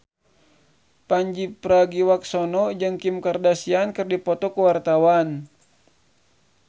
Pandji Pragiwaksono jeung Kim Kardashian keur dipoto ku wartawan